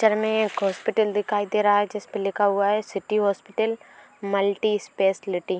मे एक हॉस्पिटल दिखाई दे रहा है। जिस पर लिखा हुआ है सिटी हॉस्पिटल मल्टी स्पेशलिटी ।